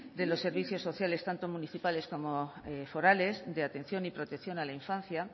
de los servicios sociales tanto municipales como forales de atención y protección a la infancia